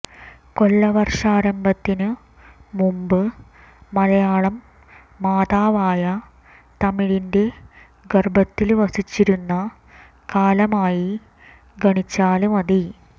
കൊല്ലവര്ഷാരംഭത്തിനു മുമ്പ് മലയാളം മാതാവായ തമിഴിന്റെ ഗര്ഭത്തില് വസിച്ചിരുന്ന കാലമായി ഗണിച്ചാല് മതി